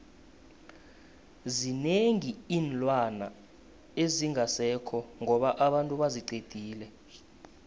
zinengi iinlwana ezingasekho ngoba abantu baziqedile